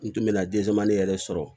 N tun bɛ ka den caman ne yɛrɛ sɔrɔ